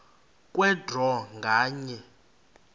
kwe draw nganye